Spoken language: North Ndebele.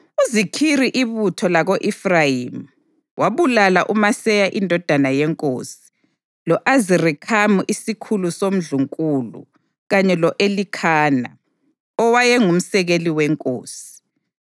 UZikhiri ibutho lako-Efrayimi, wabulala uMaseya indodana yenkosi, lo-Azirikhamu isikhulu somndlunkulu, kanye lo-Elikhana, owayengumsekeli wenkosi.